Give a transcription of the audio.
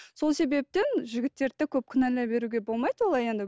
сол себептен жігіттерді де көп кінәлай беруге болмайды олай енді